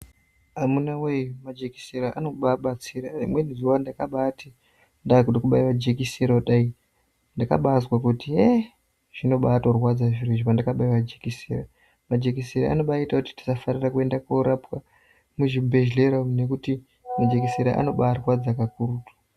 Amunawee majekisera anobaabatsira rimweni zuwa ndakabaati ndaakuda kubaiwa jekisera kudai ndakabaazwa kuti yeee zvinobaatorwadza zviro izvi pandakabaiwa jekisera. Majekisera anobaaita kuti tisafarira kuenda koorapwa muzvibhehlera umu nekuti majekisera anobaarwadza kakuru.